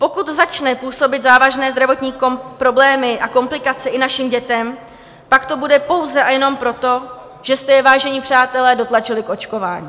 Pokud začne působit závažné zdravotní problémy a komplikace i našim dětem, pak to bude pouze a jenom proto, že jste je, vážení přátelé, dotlačili k očkování.